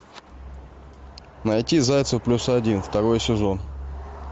найти зайцев плюс один второй сезон